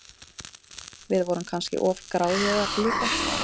Við vorum kannski of gráðugar líka.